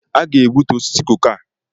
A ga-egbutu osisi koko a.